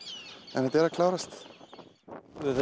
en þetta er að klárast við